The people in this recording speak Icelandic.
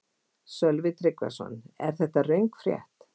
Sölvi Tryggvason: Er þetta röng frétt?